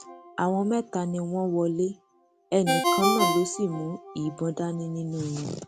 àwọn mẹta ni wọn wọlé ẹnì kan náà ló sì mú ìbọn dání nínú wọn